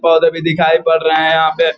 बहुत अभी दिखाई पड़ रहे है यहाँ पे --